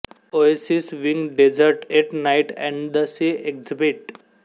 oasis wing desert at night and the sea exhibit